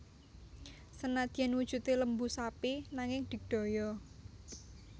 Senadyan wujudé lembu sapi nanging digdaya